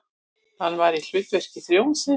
Hann var í hlutverki þjónsins.